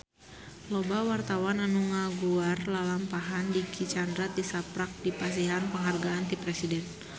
Loba wartawan anu ngaguar lalampahan Dicky Chandra tisaprak dipasihan panghargaan ti Presiden